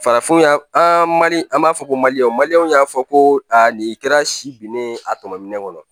Farafinya an mali an b'a fɔ ko maliyɛnw maliyɛnw y'a fɔ ko a nin kɛra si binnen ye a tɔminɛ kɔnɔ